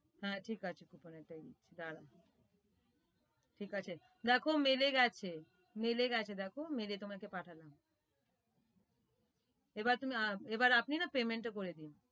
হ্যাঁ ঠিক আছে coupon এর টা দিচ্ছি দাড়াও ঠিক আছে দেখো mail এ গেছে mail এ গেছে দেখো mail এ তোমাকে পাঠালাম, এবার তুমি আহ এবার আপনি না payment টা করে দিন।